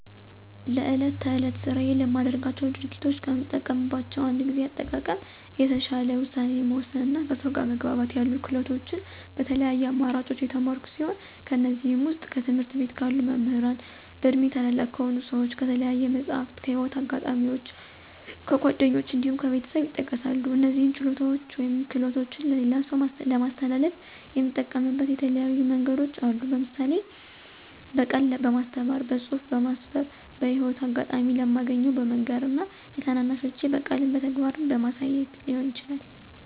ለዕለት ተዕለት ስራዬ ለማደርጋቸው ድርጊቶች ከምጠቀማቸው እንደ ጊዜ አጠቃቀም፣ የተሻለ ውሳኔ መወሰን እና ከሰው ጋር መግባባት ያሉ ክህሎቶችን በተለያዩ አማራጮች የተማርኩ ሲሆን ከእነዚህም ዉስጥ፦ ከትምህርት ቤት ካሉ መምህራን፣ በእድሜ ታላላቅ ከሆኑ ሰዎች፣ ከተለያዩ መፅሀፍት፣ ከህይወት አጋጣሚዎች፣ ከጓደኞች እንዲሁም ከቤተሰብ ይጠቀሳሉ። እነዚህን ችሎታዎች ወይም ክህሎቶች ለሌላ ሰው ለማስተላለፍ የምጠቀምበት የተለያዩ መንገዶች አሉ። ለምሳሌ፦ በቃል በማስተማር፣ በፅሁፍ በማስፈር፣ በህይወት አጋጣሚ ለማገኘው በመንገር እና ለታናናሾቼ በቃልም በተግባርም በማሳየት ሊሆን ይችላል።